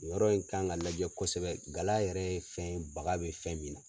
O yɔrɔ in kan ka lajɛ kosɛbɛ gala yɛrɛ ye fɛn ye baga bɛ fɛn min na.